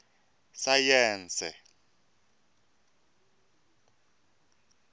sayense